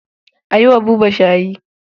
A yi wa Buba shayi.